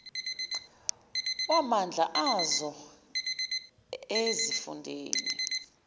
wamandla azo ezifundeni